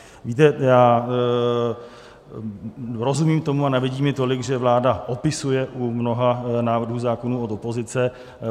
Víte, já rozumím tomu a nevadí mi tolik, že vláda opisuje u mnoha návrhů zákonů od opozice.